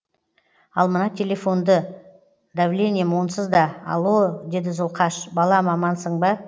ал мына телефонды давлением онсыз да алло деді зұлқаш балам амансың ба